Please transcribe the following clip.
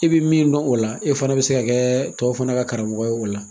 I bi min dɔn o la e fana bɛ se ka kɛ tɔ fana ka karamɔgɔ ye o la.